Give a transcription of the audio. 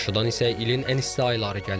Qarşıdan isə ilin ən isti ayları gəlir.